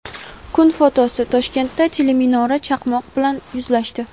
Kun fotosi: Toshkentda teleminora chaqmoq bilan yuzlashdi.